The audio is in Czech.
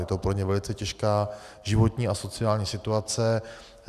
Je to pro ně velice těžká životní a sociální situace.